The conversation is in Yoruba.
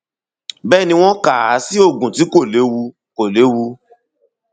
bẹẹ ni wọn kà á sí oògùn tí kò léwu kò léwu